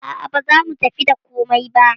A'a baza mu tafi da komai ba.